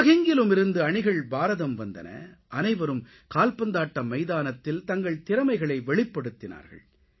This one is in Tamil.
உலகெங்கிலுமிருந்து அணிகள் பாரதம் வந்தன அனைவரும் கால்பந்தாட்ட மைதானத்தில் தங்கள் திறமைகளை வெளிப்படுத்தினார்கள்